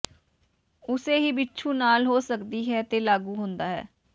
ਉਸੇ ਹੀ ਬਿੱਛੂ ਨਾਲ ਹੋ ਸਕਦੀ ਹੈ ਤੇ ਲਾਗੂ ਹੁੰਦਾ ਹੈ